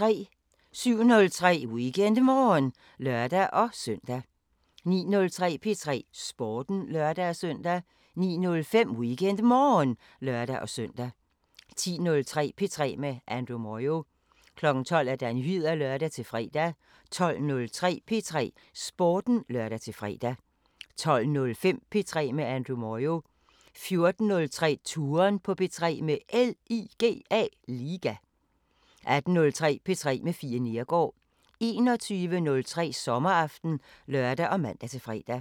07:03: WeekendMorgen (lør-søn) 09:03: P3 Sporten (lør-søn) 09:05: WeekendMorgen (lør-søn) 10:03: P3 med Andrew Moyo 12:00: Nyheder (lør-fre) 12:03: P3 Sporten (lør-fre) 12:05: P3 med Andrew Moyo 14:03: Touren på P3 – med LIGA 18:03: P3 med Fie Neergaard 21:03: Sommeraften (lør og man-fre)